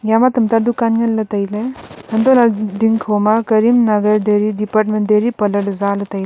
iya ma tamta dukan ngan ley tailey antoh lah ley ding ma karimnagar daily parlour zale tai ley.